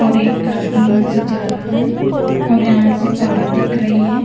और एक आदमी वहां से जा रहा है और यहां से पहाड़ दिख रही हैं।